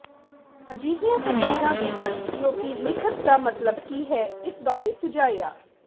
ਅਜਿਹੀਆਂ ਤਸਵੀਰਾਂ ਵੀ ਹਨ ਜੋ ਕਿ ਲਿਖਤ ਦਾ ਮਤਲਬ ਕੀ ਹੈ ਇਸ ਬਾਰੇ ਸੁਝਾਇਆ